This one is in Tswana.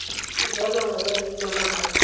sejanaga ya leina la mong